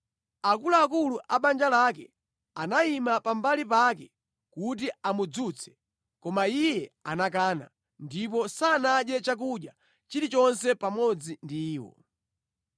Akuluakulu a banja lake anayima pambali pake kuti amudzutse, koma iye anakana, ndipo sanadye chakudya chilichonse pamodzi ndi iwo.